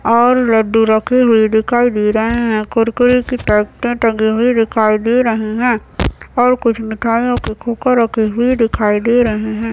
और लड्डू रखे हुए दिखाई दे रहे है कुरकुरे की पैकेट टंगी हुई दिखाई दे रही हैं और कुछ मिठाईयो की कुकर रखी हुई दिखाई दे रहे है ।